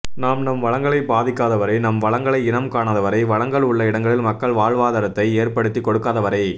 நாம் நம் வளங்களை பாவிக்காதவரை நம் வளங்களை இனம் காணாதவரை வளங்கள் உள்ள இடங்களில் மக்கள் வாழ்வாதாரத்தை ஏற்படுத்தி கொடுக்காதவரை